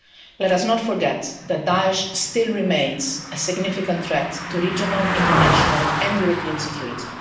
Let us not forget that Daesh still remains a significant threat to regional, international and European security.